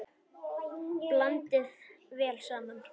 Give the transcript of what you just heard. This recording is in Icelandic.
Blandað vel saman.